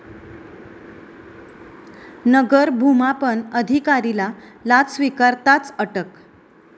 नगर भुमापन अधिकारीला लाच स्वीकारताच अटक